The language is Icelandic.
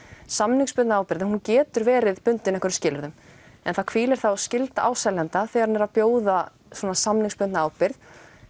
samningsbundna ábyrgðin getur verið bundin einhverjum skilyrðum en það hvílir þá skylda á seljanda þegar hann er að bjóða svona samningsbundna ábyrgð